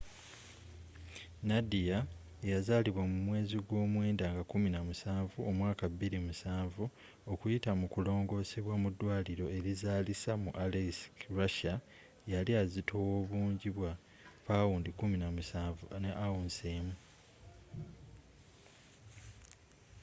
nadia eyazalibwa mu mwezi gw'omwenda nga 17 omwaka 2007 okuyita mu kulongoosebwa mu ddwaliro erizaalisa mu aleisk russia yali azitowa obungi bwa 17 pounds 1 ounce